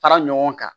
Fara ɲɔgɔn kan